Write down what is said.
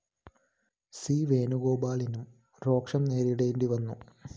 C വേണുഗോപാലിനും രോഷം നേരിടേണ്ടിവന്നു